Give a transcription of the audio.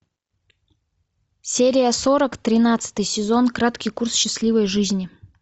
серия сорок тринадцатый сезон краткий курс счастливой жизни